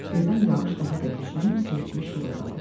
Birdən yağış daha da güclənib sel kimi şırıldadı.